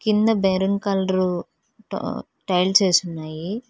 కింద brown colour టా tiles ఏసి ఉన్నాయి